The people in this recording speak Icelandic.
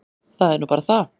Það er nú bara það.